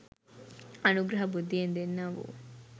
අනුග්‍රහ බුද්ධියෙන් දෙන්නා වූ